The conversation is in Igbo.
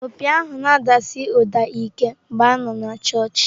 Opi ahụ na-adasi ụda ike mgbe a nọ na chọọchị.